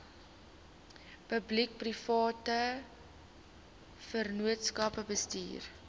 publiekeprivate vennootskappe bestuur